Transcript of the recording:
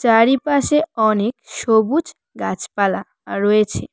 চারিপাশে অনেক সবুজ গাছপালা রয়েছে।